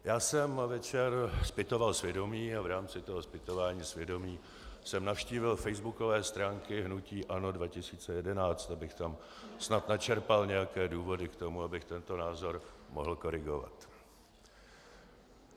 Já jsem večer zpytoval svědomí a v rámci toho zpytování svědomí jsem navštívil facebookové stránky hnutí ANO 2011, abych tam snad načerpal nějaké důvody k tomu, abych tento názor mohl korigovat.